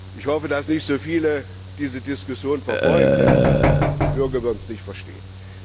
Ich hoffe, dass nicht so viele diese Diskussion verfolgen, denn die Bürger würden das nicht verstehen.